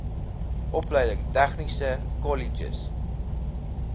opleiding tegniese kolleges